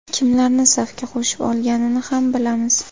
Kimlarni safga qo‘shib olganini ham bilamiz.